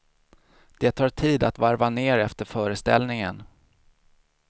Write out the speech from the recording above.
Det tar tid att varva ner efter föreställningen.